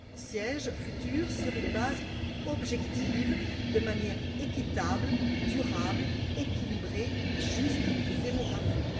sièges futurs sur une base objective, de manière équitable, durable, équilibrée, juste et démographique.